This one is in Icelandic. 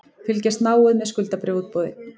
Fylgjast náið með skuldabréfaútboði